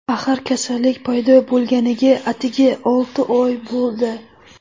Axir kasallik paydo bo‘lganiga atigi olti oy bo‘ldi.